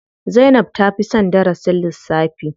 Zainab ta fi son darasin lissafi.